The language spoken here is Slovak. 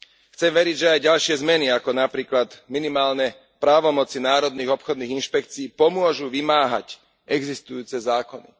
Chcem veriť, že aj ďalšie zmeny, ako napríklad minimálne právomoci národných obchodných inšpekcií, pomôžu vymáhať existujúce zákony.